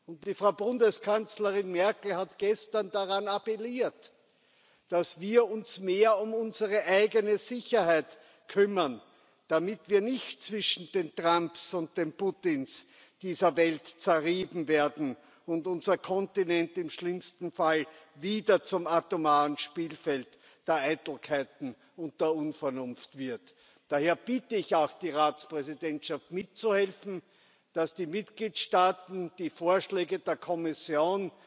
Und die Frau Bundeskanzlerin Merkel hat gestern daran appelliert, dass wir uns mehr um unsere eigene Sicherheit kümmern, damit wir nicht zwischen den Trumps und den Putins dieser Welt zerrieben werden und unser Kontinent im schlimmsten Fall wieder zum atomaren Spielfeld der Eitelkeiten und der Unvernunft wird. Daher bitte ich auch die Ratspräsidentschaft mitzuhelfen, dass die Mitgliedstaaten die Vorschläge der Kommission,